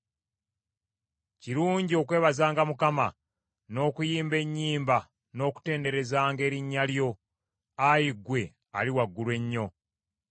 Kirungi okwebazanga Mukama , n’okuyimba ennyimba n’okutenderezanga erinnya lyo, Ayi Ggwe, Ali Waggulu Ennyo;